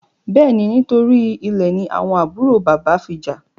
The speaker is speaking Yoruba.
Béèni, nítorí Ilè ní àwọn àbúrò bàbá fí já.